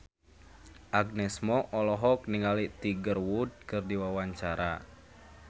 Agnes Mo olohok ningali Tiger Wood keur diwawancara